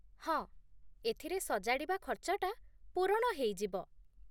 ହଁ, ଏଥିରେ ସଜାଡ଼ିବା ଖର୍ଚ୍ଚଟା ପୂରଣ ହେଇଯିବ ।